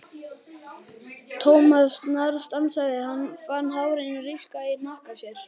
Thomas snarstansaði, hann fann hárin rísa í hnakka sér.